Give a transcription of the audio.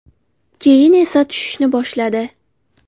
Keyin esa tushishni boshladi.